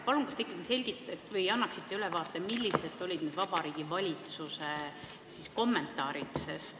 Palun, kas te ikkagi selgitaksite või annaksite ülevaate, millised olid Vabariigi Valitsuse kommentaarid?